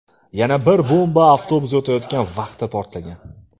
Yana bir bomba avtobus o‘tayotgan vaqtda portlagan.